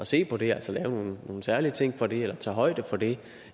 se på det altså lave nogle særlige ting for det eller tage højde for det